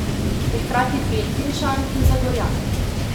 Je hkrati Beltinčan in Zagorjan.